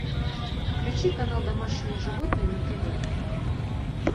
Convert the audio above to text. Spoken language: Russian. включи канал домашние животные на тв